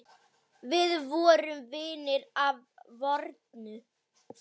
Við vorum vinir að fornu.